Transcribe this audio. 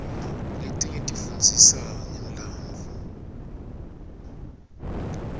letinye tifundzisa ngemlandvo